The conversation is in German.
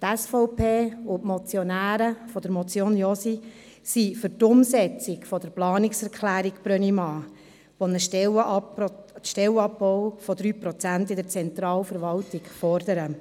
Die SVP und die Motionäre der Motion Josi sind für die Umsetzung der Planungserklärung Brönnimann, die einen Stellenabbau von 3 Prozent in der Zentralverwaltung fordert.